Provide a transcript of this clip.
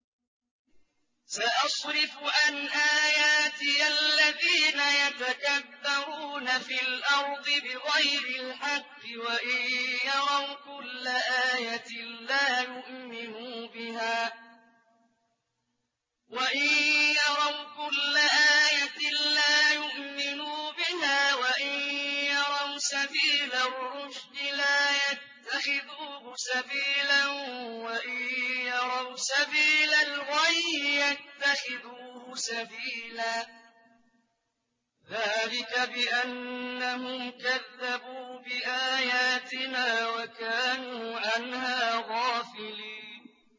سَأَصْرِفُ عَنْ آيَاتِيَ الَّذِينَ يَتَكَبَّرُونَ فِي الْأَرْضِ بِغَيْرِ الْحَقِّ وَإِن يَرَوْا كُلَّ آيَةٍ لَّا يُؤْمِنُوا بِهَا وَإِن يَرَوْا سَبِيلَ الرُّشْدِ لَا يَتَّخِذُوهُ سَبِيلًا وَإِن يَرَوْا سَبِيلَ الْغَيِّ يَتَّخِذُوهُ سَبِيلًا ۚ ذَٰلِكَ بِأَنَّهُمْ كَذَّبُوا بِآيَاتِنَا وَكَانُوا عَنْهَا غَافِلِينَ